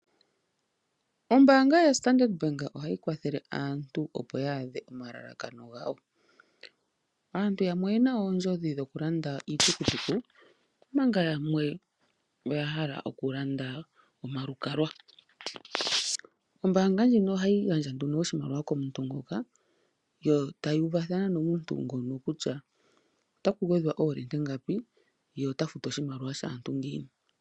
Ombaanga yoStandard bank ohayi kwathele aantu opo yaadhe omalalakano gawo. Aantu yamwe oyena oondjodhi dhokulanda iitukutuku, omanga yamwe oya hala okulanda omalukalwa. Ombaanga ndjino ohayi gandja nduno oshimaliwa shika komuntu ngoka yo tayuuvathana nomuntu ngono kutya otaku gwedhwa oolita ngapi, ye ota futu oshimaliwa shaantu ngiini.